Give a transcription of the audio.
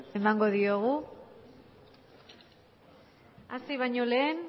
emango diogu hasi baño lehen